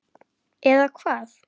Eða hvað?